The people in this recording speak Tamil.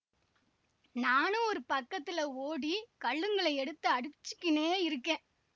நானு ஒரு பக்கத்திலே ஓடி கல்லுங்களை எடுத்து அடிச்சிக்கினே இருக்கேன்